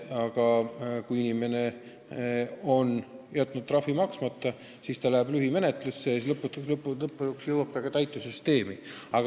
Aga kui inimene on jätnud trahvi maksmata, siis järgneb lühimenetlus ja lõpuks jõuab asi täitesüsteemi.